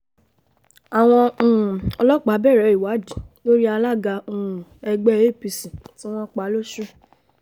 àwọn um ọlọ́pàá bẹ̀rẹ̀ ìwádìí lórí alága um ẹgbẹ́ apc tí wọ́n pa lọ́sùn